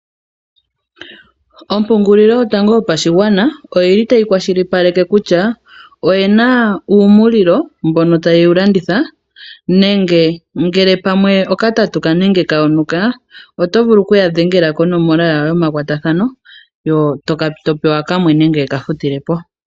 Ompungulilo yotango yopashigwana oyili tayi kwashilipaleke kutya oyena uumulilo mbono taye wulanditha nenge ngele pamwe okatatuka nenge kayo nuka otovulu okuya dhengela konomola yawo yomakwatathano eto pewa kamwe nenge yekafutilepo.